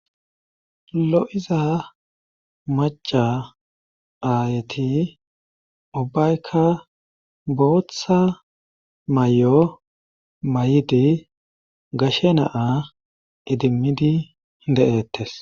lo'iza maca aayti ubbaykka booththa may'o may'idi gashe naa idimmidi de'ettes.